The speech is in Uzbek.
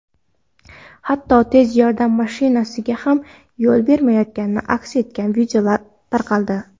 hatto tez yordam mashinasiga ham yo‘l bermayotgani aks etgan videolar tarqaldi.